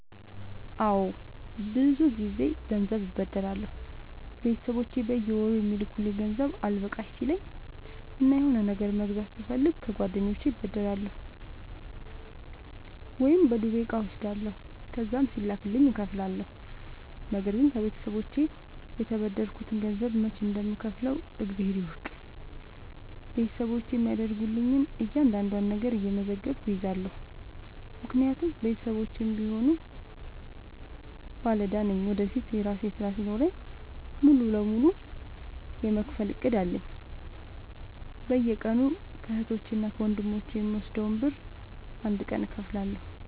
አዎድ ብዙ ግዜ ገንዘብ አበደራለሁ ቤተሰቦቼ በየወሩ የሚልኩልኝ ገንዘብ አልበቃሽ ሲለኝ እና የሆነ ነገር መግዛት ስፈልግ ከጓደኞቼ እበደራለሁ። ወይም በዱቤ እቃ እወስዳለሁ ከዛም ሲላክልኝ እከፍላለሁ። ነገርግን ከቤተሰቦቼ የተበደርከትን ገንዘብ መች እንደም ከውፍለው እግዜር ይወቅ ቤተሰቦቼ የሚያደርጉልኝን እያንዳዷን ነገር እየመዘገብኩ እይዛለሁ። ምክንያቱም ቤተሰቦቼም ቢሆኑ ባለዳ ነኝ ወደፊት የራሴ ስራ ሲኖረኝ ሙሉ በሙሉ የመክፈል እቅድ አለኝ። በየቀኑ ከህቶቼ እና ከወንድሞቼ የምወስደውን ብር አንድ ቀን እከፍላለሁ።